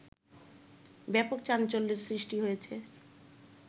ব্যাপক চাঞ্চল্যের সৃষ্টি হয়েছে